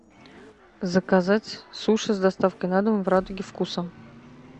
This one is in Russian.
заказать суши с доставкой на дом в радуге вкуса